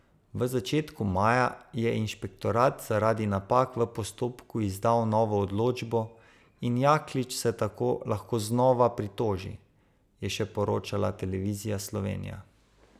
V začetku maja je inšpektorat zaradi napak v postopku izdal novo odločbo in Jaklič se tako lahko znova pritoži, je še poročala Televizija Slovenija.